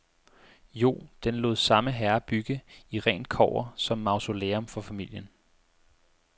Jo, den lod samme herre bygge i rent kobber som mausolæum for familien.